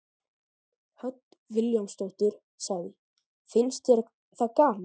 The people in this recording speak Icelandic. Hödd Vilhjálmsdóttir: Finnst þér það gaman?